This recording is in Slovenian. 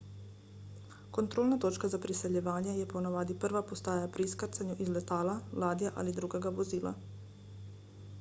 kontrolna točka za priseljevanje je ponavadi prva postaja pri izkrcanju iz letala ladje ali drugega vozila